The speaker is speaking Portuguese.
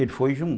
Ele foi junto.